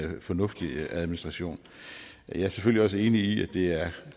fornuftig administration jeg er selvfølgelig også enig i at det er